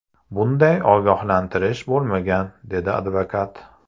Bunday ogohlantirish bo‘lmagan”, dedi advokat.